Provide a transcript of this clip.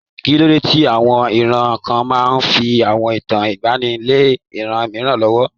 Kí ló dé tí àwọn ìran kan máa ń fi àwọn ìtàn ìgbaanì lé ìran mìíràn lọ́wọ́?